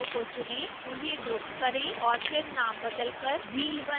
उन्हें ग्रुप करें और फिर नाम बदलकर wheel1 करें